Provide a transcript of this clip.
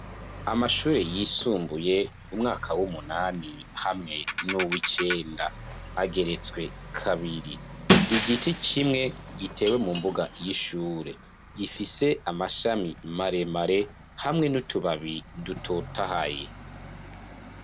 Amashure yisumbuye, umwaka w'umunani hamwe n'uwicenda ageretswe kabiri, igiti kimwe gitewe mu mbuga y'ishure gifise amashami maremare hamwe n'utubabi dutotahaye.